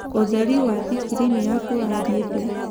ũtherĩ wa thĩkĩrĩnĩ yakwa ũrathĩĩ thĩĩ